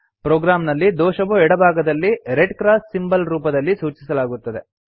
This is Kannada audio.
ಪ್ರೋಗ್ರಾಮ್ ನಲ್ಲಿ ದೋಷವು ಎಡ ಭಾಗದಲ್ಲಿ ರೆಡ್ ಕ್ರಾಸ್ ಸಿಂಬಲ್ ರೂಪದಲ್ಲಿ ಸೂಚಿಸಲಾಗುತ್ತದೆ